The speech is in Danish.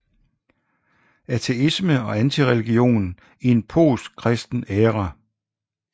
Ateisme og antireligion i en postkristen æra